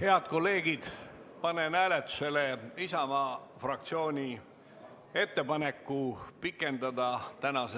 Head kolleegid, panen hääletusele Isamaa fraktsiooni ettepaneku pikendada tänast